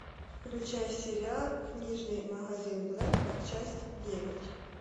включай сериал книжный магазин блэка часть девять